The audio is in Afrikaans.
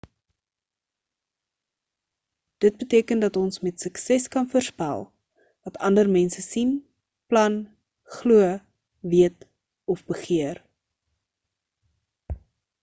dit beteken dat ons met sukses kan voorspel wat ander mense sien plan glo weet of begeer